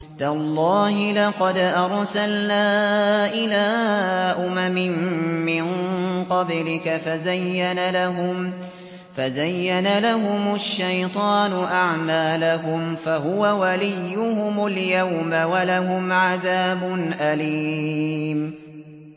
تَاللَّهِ لَقَدْ أَرْسَلْنَا إِلَىٰ أُمَمٍ مِّن قَبْلِكَ فَزَيَّنَ لَهُمُ الشَّيْطَانُ أَعْمَالَهُمْ فَهُوَ وَلِيُّهُمُ الْيَوْمَ وَلَهُمْ عَذَابٌ أَلِيمٌ